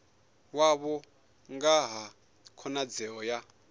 wavho nga ha khonadzeo ya